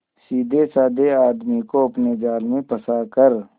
सीधेसाधे आदमी को अपने जाल में फंसा कर